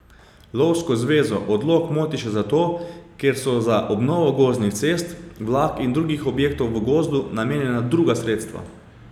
Lovsko zvezo odlok moti še zato, ker so za obnovo gozdnih cest, vlak in drugih objektov v gozdu namenjena druga sredstva.